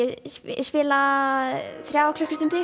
spila þrjár klukkustundir